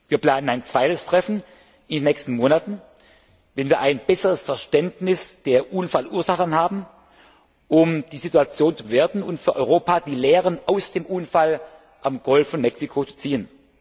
Wir planen ein zweites Treffen in den nächsten Monaten, wenn wir ein besseres Verständnis der Unfallursachen haben, um die Situation zu bewerten und für Europa die Lehren aus dem Unfall im Golf von Mexiko zu ziehen.